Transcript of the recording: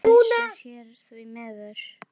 Engar pylsur hér, því miður.